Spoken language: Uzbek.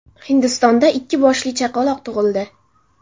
Hindistonda ikki boshli chaqaloq tug‘ildi.